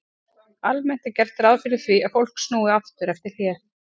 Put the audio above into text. Almennt er gert ráð fyrir því að fólk snúi aftur eftir hlé.